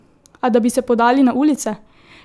A da bi se podali na ulice?